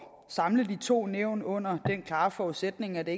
samle de to nævn under den klare forudsætning at det